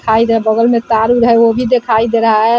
बगल में तार-उर है वो भी देखाई दे रहा है।